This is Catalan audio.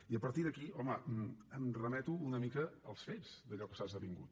i a partir d’aquí home em remeto una mica als fets d’allò que s’ha esdevingut